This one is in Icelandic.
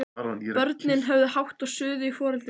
Börnin höfðu hátt og suðuðu í foreldrum sínum.